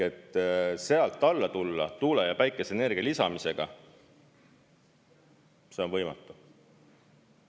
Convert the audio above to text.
Sealt alla tulla tuule- ja päikeseenergia lisamisega on võimatu.